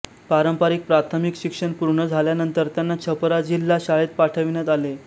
पारंपरिक प्राथमिक शिक्षण पूर्ण झाल्यानंतर त्यांना छपरा जिल्हा शाळेत पाठविण्यात आले